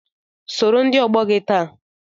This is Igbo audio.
Sọrọ ndị ọgbọ gị taa!